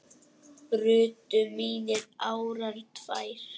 brutu mínar árar tvær